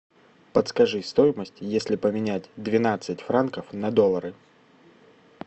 подскажи стоимость если поменять двенадцать франков на доллары